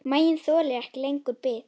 Maginn þolir ekki lengur bið.